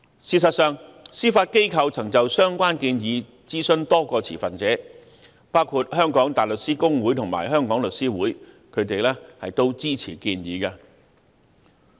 事實上，司法機構曾就相關建議諮詢多個持份者，包括香港大律師公會及香港律師會，並獲支持。